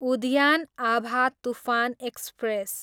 उद्यान आभा तुफान एक्सप्रेस